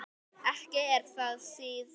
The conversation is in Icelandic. Ekki er það síðra.